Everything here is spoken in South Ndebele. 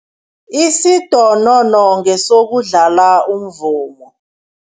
Isidonodono ngesokudlala umvumo.